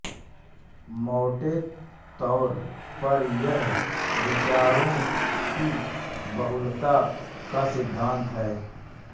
मौटे तौर पर यह विचारों की बहुलता का सिद्धान्त है